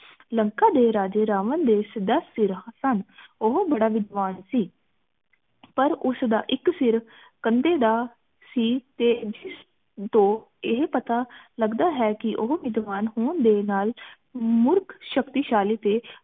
ਉਹ ਬੜਾ ਵਿਦਵਾਨ ਸੀ ਪਰ ਉਸਦਾ ਇਕ ਸਿਰ ਕੰਧੇ ਦਾ ਸੀ ਤੇ ਜਿਸਤੋ ਇਹ ਪਤਾ ਲੱਗਦਾ ਹੈ ਕਿ ਉਹ ਵਿਦਵਾਨ ਹੋਣ ਦੇ ਨਾਲ ਮੂਰਖ ਸ਼ਕਤੀਸ਼ਾਲੀ ਤੇ